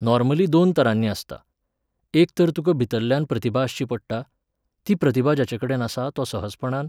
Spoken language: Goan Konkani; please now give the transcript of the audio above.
नॉर्मली दोन तरांनी आसता. एक तर तुका भितरल्ल्यान प्रतिभा आसची पडटा, ती प्रतिभा जाचे कडेन आसा तो सहजपणान